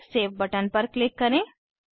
फिर save button पर click करें